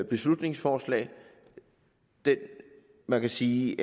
beslutningsforslag man kan sige